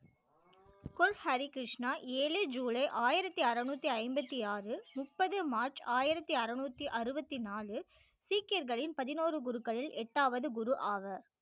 குரு ஹரி கிருஷ்ணா ஏழு ஜூலை ஆயிரத்தி அறுநூத்தி ஐம்பத்தி ஆறு முப்பது மார்ச் ஆயிரத்தி அறுநூற்றி அறுபத்தி நாலு சீக்கியர்களின் பதினோரு குருக்கள் எட்டாவது குரு ஆவர்